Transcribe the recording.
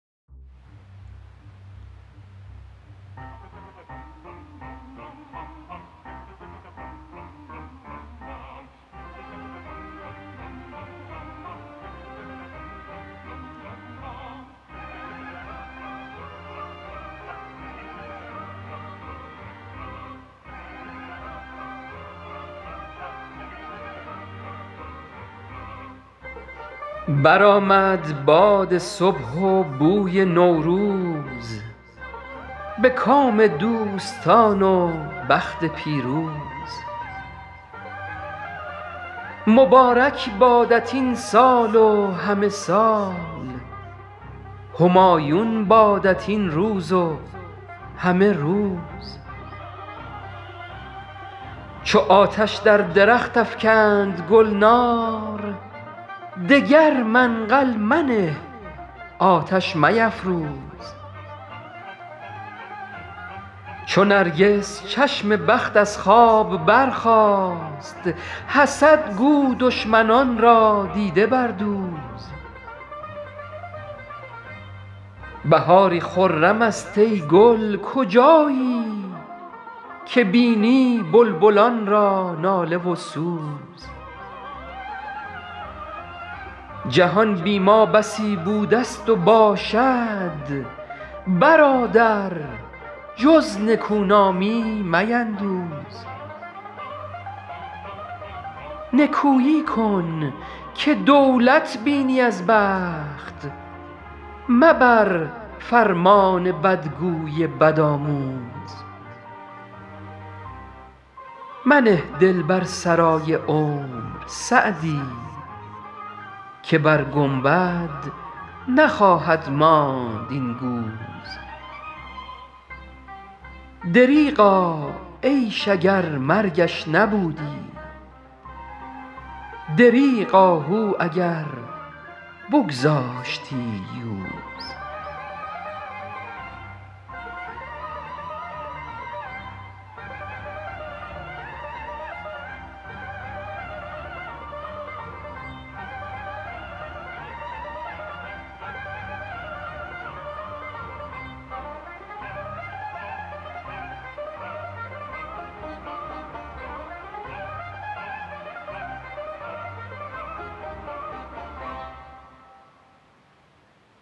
برآمد باد صبح و بوی نوروز به کام دوستان و بخت پیروز مبارک بادت این سال و همه سال همایون بادت این روز و همه روز چو آتش در درخت افکند گلنار دگر منقل منه آتش میفروز چو نرگس چشم بخت از خواب برخاست حسد گو دشمنان را دیده بردوز بهاری خرم است ای گل کجایی که بینی بلبلان را ناله و سوز جهان بی ما بسی بوده ست و باشد برادر جز نکونامی میندوز نکویی کن که دولت بینی از بخت مبر فرمان بدگوی بدآموز منه دل بر سرای عمر سعدی که بر گنبد نخواهد ماند این گوز دریغا عیش اگر مرگش نبودی دریغ آهو اگر بگذاشتی یوز